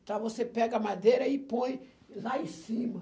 Então, você pega a madeira e põe lá em cima.